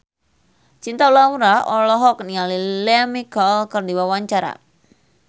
Cinta Laura olohok ningali Lea Michele keur diwawancara